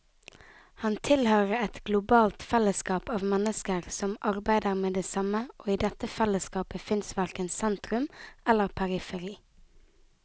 Han tilhører et globalt fellesskap av mennesker som arbeider med det samme, og i dette fellesskapet fins verken sentrum eller periferi.